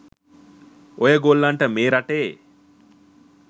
ඔය ගොල්ලන්ට මේ රටේ